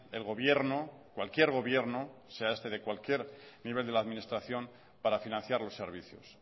el gobierno cualquier gobierno sea este de cualquier nivel de la administración para financiar los servicios